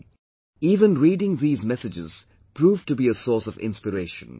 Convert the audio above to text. For me, even reading these messages proved to be a source of inspiration